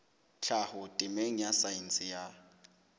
tlhaho temeng ya saense ya